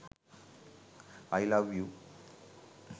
i love u